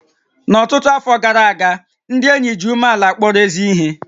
N'ọtụtụ afọ gara aga, ndị ényì ji umeàlà kpọrọ ézí ihé